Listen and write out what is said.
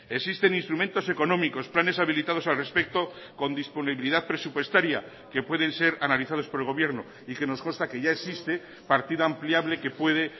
existen instrumentos económicos planes habilitados al respecto con disponibilidad presupuestaria que pueden ser analizados por el gobierno y que nos consta que ya existe partida ampliable que puede